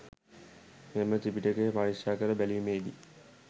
මෙම ත්‍රිපිටකය පරික්‍ෂාකර බැලීමේදී